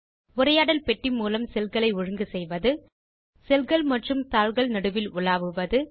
உரையாடல் பெட்டி மூலம் செல் களை ஒழுங்கு செய்வது செல் கள் மற்றும் தாள்கள் நடுவில் உலாவுவது